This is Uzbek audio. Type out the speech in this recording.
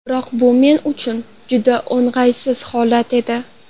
Biroq bu men uchun juda o‘ng‘aysiz holat edi.